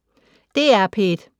DR P1